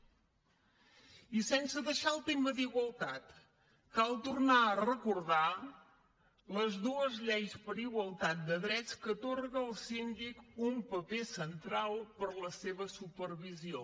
i sense deixar el tema d’igualtat cal tornar a recordar les dues lleis per a igualtat de drets que atorguen al síndic un paper central per a la seva supervisió